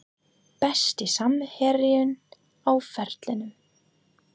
Besti samherjinn á ferlinum?